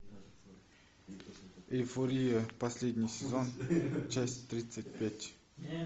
эйфория последний сезон часть тридцать пять